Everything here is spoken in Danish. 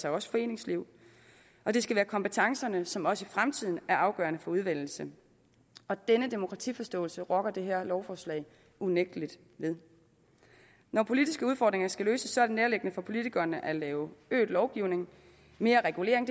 også foreninger det skal være kompetencerne som også i fremtiden er afgørende for udvælgelsen denne demokratiforståelse rokker det her lovforslag unægtelig ved når politiske udfordringer skal løses er det nærliggende for politikerne at lave øget lovgivning mere regulering